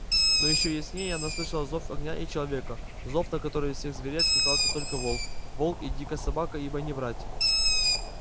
но ещё яснее она слышала зов огня и человека зов на который из всех зверей откликался только волк волк и дикая собака ибо они братья